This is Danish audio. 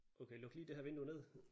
Okay luk lige det her vidnue ned